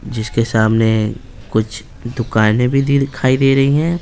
जिसके सामने कुछ दुकानें भी दिखाई दे रही हैं।